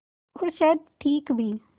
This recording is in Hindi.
और शायद ठीक भी